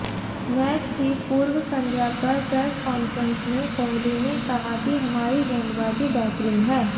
match की पूर्वसंध्या पर प्रेस कॉन्फ्रेंस में कोहली ने कहा कि हमारी गेंदबाजी बेहतरीन है